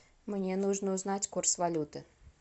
мне нужно узнать курс валюты